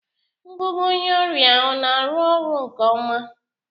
Ngụgụ onye ọrịa ọ na-arụ ọrụ nke ọma?